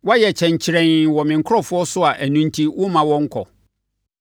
Woayɛ kyɛnkyerɛnn wɔ me nkurɔfoɔ so a ɛno enti, womma wɔnkɔ.